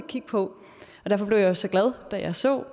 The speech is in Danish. kigge på og derfor blev jeg jo så glad da jeg så